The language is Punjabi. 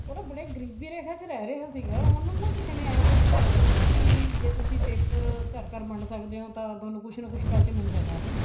ਉਹ ਨਾ ਬੜੇ ਗਰੀਬੀ ਰੇਖਾ ਚ ਰਹਿ ਰਿਹਾ ਸੀਗਾ ਉਹਨੂੰ ਨਾ ਕਿਸੇ ਨੇ ਆ ਕੇ ਸੂਜਾਉ ਦਿੱਤਾ ਵੀ ਜੇ ਤੁਸੀਂ paper ਘਰ ਘਰ ਵੰਡ ਸਕਦੇ ਓ ਤਾਂ ਤੁਹਾਨੂੰ ਕੁੱਝ ਨਾ ਕੁੱਝ ਪੈਸੇ ਮਿਲ ਜਿਆ ਕਰਨਗੇ